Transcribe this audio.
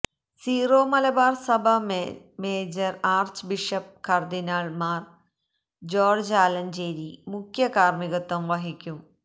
zero Malabar സഭ major archbishop കര്ദിനാള് Mar George Alencherry മുഖ്യ കാര്മ്മികത്വം വഹിക്കും